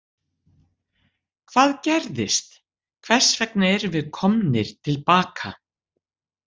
Hvað gerðist, hvers vegna erum við komnir til baka?